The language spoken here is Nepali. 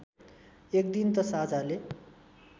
एकदिन त साझाले